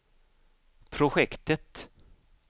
projektet